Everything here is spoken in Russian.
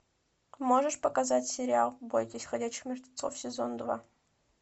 можешь показать сериал бойтесь ходячих мертвецов сезон два